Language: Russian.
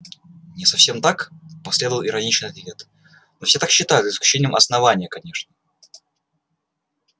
не совсем так последовал иронический ответ но все так считают за исключением основания конечно